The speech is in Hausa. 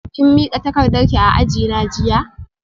Kin mika takardarki a ajina jiya?